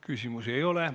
Küsimusi ei ole.